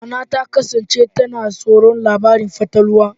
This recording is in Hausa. Nana ta kasance tana tsoron labarun fatalwa.